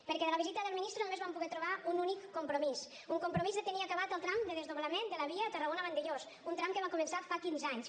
perquè de la visita del ministre només vam poder trobar un únic compromís un compromís de tenir acabat el tram de desdoblament de la via tarragona vandellòs un tram que va començar fa quinze anys